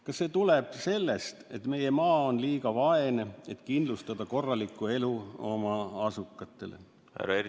Kas see tuleb sellest, et meie maa on liiga vaene, et kindlustada korralikku elu oma asukaile?